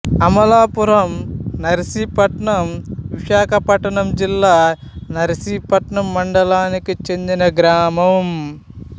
అమలాపురం నర్సీపట్నం విశాఖపట్నం జిల్లా నర్సీపట్నం మండలానికి చెందిన గ్రామం